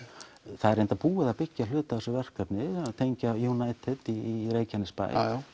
það er reyndar búið að byggja hluta af þessu verkefni að tengja United í Reykjanesbæ